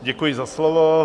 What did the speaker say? Děkuji za slovo.